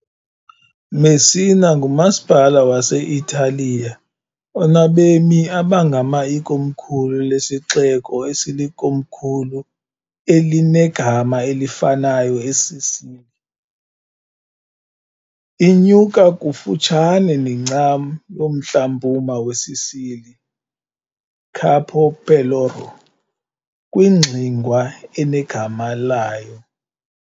Messina ngumasipala wase-Italiya onabemi abangama ikomkhulu lesixeko esilikomkhulu elinegama elifanayo eSicily. Inyuka kufutshane nencam yomntla-mpuma weSicily Capo Peloro kwingxingwa enegama layo.